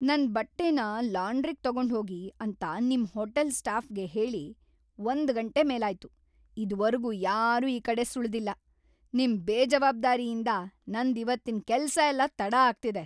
ನನ್‌ ಬಟ್ಟೆನ ಲಾಂಡ್ರಿಗ್ ತಗೊಂಡ್ಹೋಗಿ ಅಂತ ನಿಮ್ ಹೋಟೆಲ್‌ ಸ್ಟಾಫ್‌ಗೆ ಹೇಳಿ ಒಂದ್ ಗಂಟೆ ಮೇಲಾಯ್ತ, ಇದ್ವರ್ಗೂ ಯಾರೂ ಈ ಕಡೆ ಸುಳ್ದಿಲ್ಲ. ನಿಮ್‌ ಬೇಜವಾಬ್ದಾರಿಯಿಂದ ನಂದ್‌ ಇವತ್ತಿನ್ ಕೆಲ್ಸ ಎಲ್ಲ ತಡ ಆಗ್ತಿದೆ!